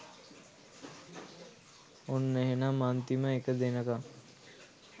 ඔන්න එහෙනම් අන්තිම එක දෙනකම්